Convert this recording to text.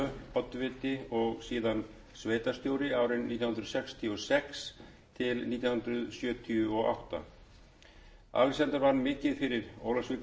oddviti og síðan sveitarstjóri nítján hundruð sextíu og sex til nítján hundruð sjötíu og átta alexander vann mikið fyrir ólafsvíkursöfnuð og